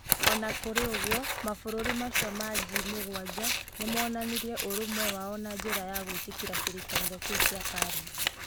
O na kũrĩ ũguo, mabũrũri macio ma G7 nĩ moonanirie ũrũmwe wao na njĩra ya gwĩtĩkĩra kĩrĩkanĩro kĩu kĩa Paris.